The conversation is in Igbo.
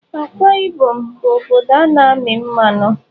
Akwa Ibom bụ obodo na-amị mmanụ.